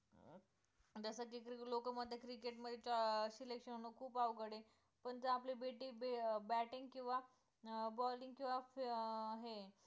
जसं की लोकं म्हणतात की cricket मध्ये अं selection खूप अवघड आहे, पण जर आपली betting, batting किंवा अं balling किंवा अं हे